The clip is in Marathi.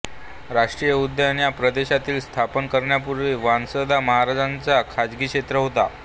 राष्ट्रीय उद्यान या प्रदेशातील स्थापन करण्यापूर्वी वांसदा महाराजा चा खाजगी क्षेत्र होता